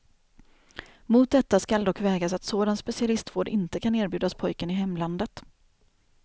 Mot detta skall dock vägas att sådan specialistvård inte kan erbjudas pojken i hemlandet.